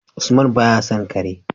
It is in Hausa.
Usman baya son Kare